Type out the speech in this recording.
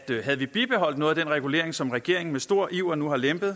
havde vi bibeholdt noget af den regulering som regeringen med stor iver nu har lempet